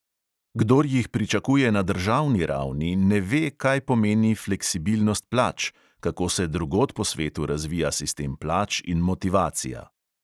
Kdor jih pričakuje na državni ravni, ne ve, kaj pomeni fleksibilnost plač, kako se drugod po svetu razvija sistem plač in motivacija.